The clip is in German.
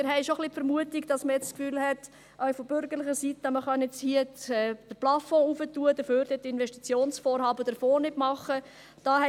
Wir haben schon ein bisschen die Vermutung, man habe, auch von bürgerlicher Seite her, das Gefühl, dass man hier den Plafond erhöhen kann und dafür bei den Investitionsvorhaben den Fonds nicht machen muss.